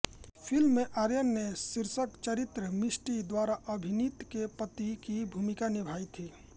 film में आर्यन ने शीर्षक चरित्र मिष्टी द्वारा अभिनीत के पति की भूमिका निभाई थी